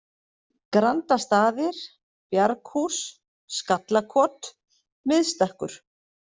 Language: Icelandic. Grandastaðir, Bjarghús, Skallakot, Miðstekkur